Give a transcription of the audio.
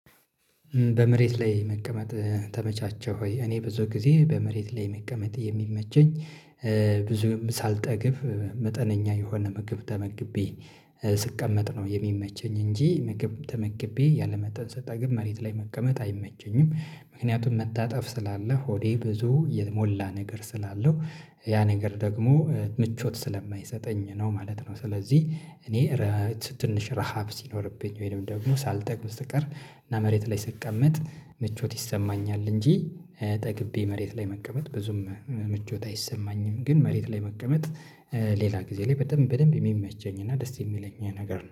በመሬት ላይ መቀመጥ ተመቻችህ ወይ? እኔ ብዙ ጊዜ በመሬት ላይ መቀመጥ የሚመቸኝ። ብዙ ሳልጠግብ መጠነኛ የሆነ ምግብ ተመግቤ ስቀመጥ ነው የሚመቸኝ እንጂ ምግብ ተመግቤ ያለመጠን ሰጠግብ መሬት ላይ መቀመጥ አይመቸኝም። ምክንያቱም መታጠፍ ስላለ ሆዴ ብዙ የሞላ ነገር ስላለው ያ ነገር ደግሞ ምቾት ስለማይሰጠኝ ነው ማለት ነው። ስለዚህ እኔ ራት ትንሽ ረሃብ ሲኖርብኝ ወይንም ደግሞ ሳልጠግብ ስቀር እና መሬት ላይ ስትቀመጥ ምቾት ይሰማኛል። እንጂ ጠግቤ መሬት ላይ መቀመጥ ብዙም ምቾት አይሰማኝም። ግን መሬት ላይ መቀመጥ ሌላ ጊዜ ላይ በደንብ የሚመቸኝ እና ደስ የሚለኝ ነገር ነው